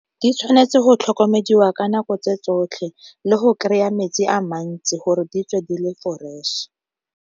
Di tshwanetse go tlhokomediwa ka nako tse tsotlhe le go kry-a metsi a mantsi gore di tswe di le fresh.